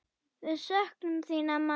Við söknum þín, amma.